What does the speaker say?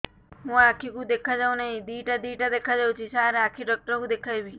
ମୋ ଆଖିକୁ ଦେଖା ଯାଉ ନାହିଁ ଦିଇଟା ଦିଇଟା ଦେଖା ଯାଉଛି ସାର୍ ଆଖି ଡକ୍ଟର କୁ ଦେଖାଇବି